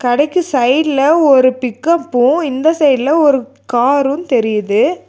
கடைக்கு சைடுல ஒரு பிக்கப்பு இந்த சைடுல ஒரு காரு தெரியுது.